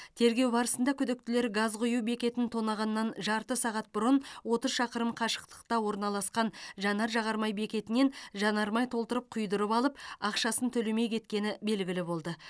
тергеу барысында күдіктілер газ құю бекетін тонағаннан жарты сағат бұрын отыз шақырым қашықтықта орналасқан жанар жағар май бекетінен жанармай толтырып құйдырып алып ақшасын төлемей кеткені белгілі болды